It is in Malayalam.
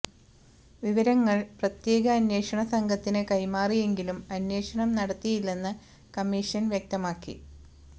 വിവരങ്ങള് പ്രത്യേക അന്വേഷണ സംഘത്തിന് കൈമാറിയെങ്കിലും അന്വേഷണം നടത്തിയില്ലെന്ന് കമ്മിഷന് വ്യക്തമാക്കി